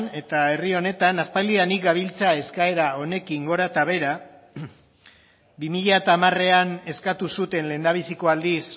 eta herri honetan aspaldidanik gabiltza eskaera honekin gora eta behera bi mila hamarean eskatu zuten lehendabiziko aldiz